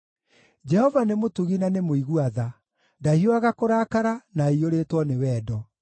Jehova nĩ mũtugi na nĩ mũigua-tha, ndahiũhaga kũrakara, na aiyũrĩtwo nĩ wendo.